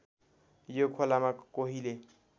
यो खोलामा कोहीले